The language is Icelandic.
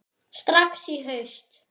Strax í haust?